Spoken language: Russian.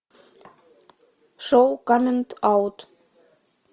шоу коммент аут